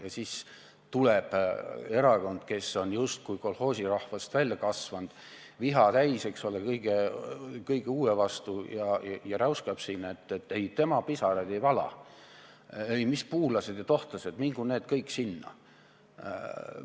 Ja siis tuleb erakond, kes on justkui kolhoosirahvast välja kasvanud, viha täis kõige uue vastu, ja räuskab siin, et ei, tema pisaraid ei vala, ei, mis puulased ja tohtlased, mingu need kõik sinna!